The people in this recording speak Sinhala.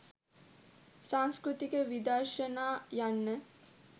සංස්කෘත විදර්ශනා යන්න